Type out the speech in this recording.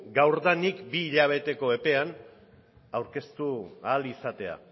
gaurtik bi hilabeteko epean aurkeztu ahal izatea